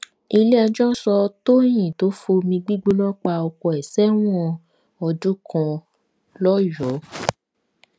iléẹjọ sọ tọyìn tó fomi gbígbóná pa ọkọ ẹ sẹwọn ọdún kan lọdọ